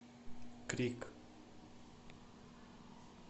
крик